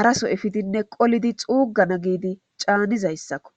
haraso ifidinne qolidi xuugana giidi caanizayssakko